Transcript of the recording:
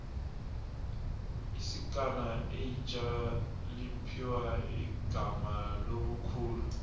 isikana eitjha liphiwa igama lobukhulu